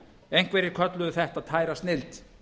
einhverjir kölluðu þetta tæra snilld